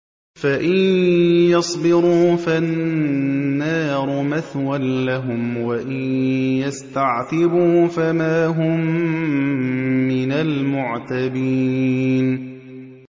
فَإِن يَصْبِرُوا فَالنَّارُ مَثْوًى لَّهُمْ ۖ وَإِن يَسْتَعْتِبُوا فَمَا هُم مِّنَ الْمُعْتَبِينَ